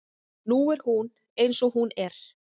Nú er hún eins og hún er.